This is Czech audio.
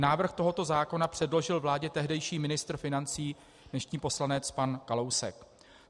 Návrh tohoto zákona předložil vládě tehdejší ministr financí, dnešní poslanec pan Kalousek.